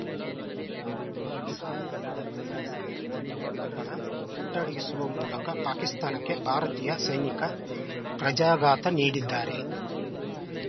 ಪಾಕ್‌ ಸಹಾಯದಿಂದ ಅಟ್ಟಹಾಸ ಮೆರೆಯುತ್ತಿದ್ದ ಉಗ್ರರ ಹುಟ್ಟಡಗಿಸುವ ಮೂಲಕ ಪಾಕಿಸ್ತಾನಕ್ಕೆ ಭಾರತೀಯ ಸೈನಿಕ ಪ್ರಜಾ ಘಾತ ನೀಡಿದ್ದಾರೆ